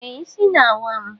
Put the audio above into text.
Ee, isi na-awa m.